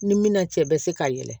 Ni minan cɛ bɛ se ka yɛlɛ